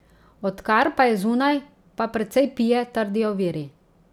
Odkar pa je zunaj, pa precej pije, trdijo viri.